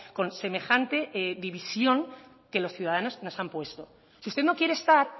con semejante división que los ciudadanos nos han puesto si usted no quiere estar